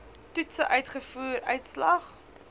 toetse uitvoer uitslag